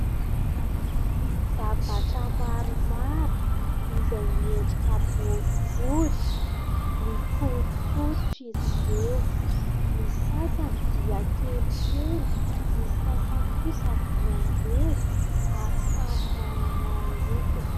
Zavatra maromaro izay miendrika boribory, mikorokorotra izy ireo; ny sasany dia kelikely, ny sasany kosa dia ngeza ary samy manana ny lokony.